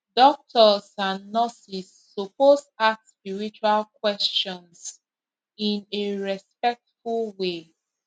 doctors and nurses suppose ask spiritual questions in a respectful way